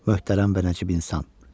Möhtərəm və nəcib insan.